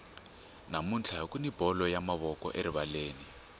namuntlha kuni bolo ya mavoko erivaleni